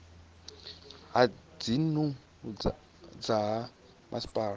ya dzinnu dza ha masipala